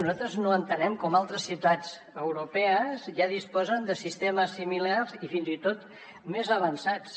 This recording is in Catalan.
nosaltres no entenem com altres ciutats europees ja disposen de sistemes similars i fins i tot més avançats